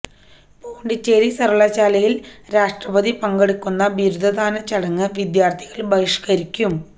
പോണ്ടിച്ചേരി സർവകലാശാലയിൽ രാഷ്ട്രപതി പങ്കെടുക്കുന്ന ബിരുദദാന ചടങ്ങ് വിദ്യാർത്ഥികൾ ബഹിഷ്കരിക്കും